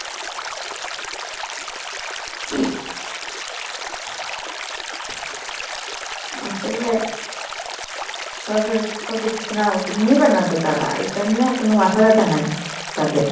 আসলে সরকারের একটা পদক্ষেপ নেওয়া উচিত। নিবে না তো তারা, এটা নিয়ে কনো মাথা বেথা নাই তাদের।